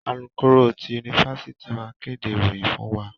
Alukoro ti yunifásítì máa n kéde ìròyìn fún wa.